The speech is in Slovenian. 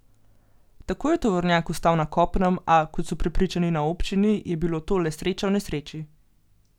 Tako je tovornjak ostal na kopnem, a, kot so prepričani na občini, je bila to le sreča v nesreči.